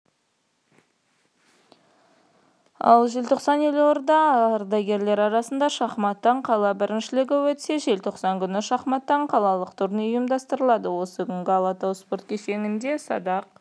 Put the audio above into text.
ал желтоқсанда елордада ардагерлер арасында шахматтан қала біріншілігі өтсе желтоқсан күні шахматтан қалалық турнир ұйымдастырылады осы күні алатау спорт кешенінде садақ